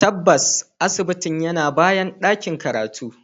Tabbas, asibitin yana bayan ɗakin karatu.